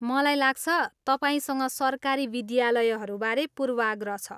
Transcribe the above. मलाई लाग्छ, तपाईँसँग सरकारी विद्यालयहरूबारे पूर्वाग्रह छ।